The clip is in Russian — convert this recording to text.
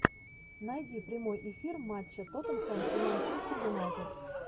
найди прямой эфир матча тоттенхэм и манчестер юнайтед